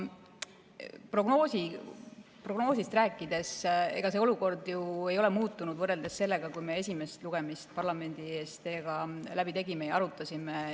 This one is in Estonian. Prognoosist rääkides, siis ega see olukord ei ole ju muutunud võrreldes sellega, kui me esimest lugemist parlamendi ees teiega läbi tegime ja arutasime.